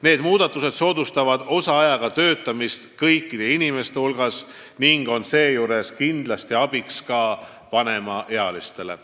Need muudatused soodustavad kõikide inimeste osaajaga töötamist ning on seejuures kindlasti abiks ka vanemaealistele.